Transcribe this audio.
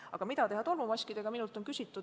Aga mida teha tolmumaskidega?